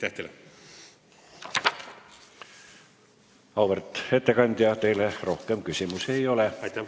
Auväärt ettekandja, teile rohkem küsimusi ei ole.